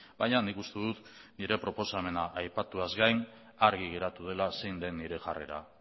baina nik uste dut nire proposamena aipatuaz gain argi geratu dela zein den nire jarrera